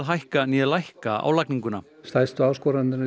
hækka né lækka álagninguna stærstu áskoranirnar